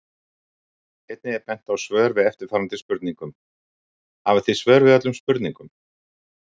Einnig er bent á svör við eftirfarandi spurningum: Hafið þið svör við öllum spurningum?